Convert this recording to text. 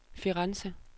Firenze